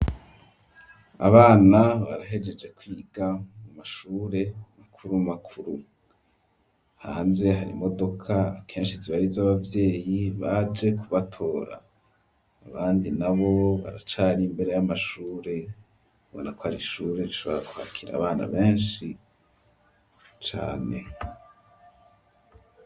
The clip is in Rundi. Abana barahegeje kwiga mu mashure makuru makuru hanze hari imodoka keshi ziba arizabavyeyi baje ku batora abandi nabo baracari imbere y'amashure ubona ko ari shure rishobora kwakira abana beshi cane.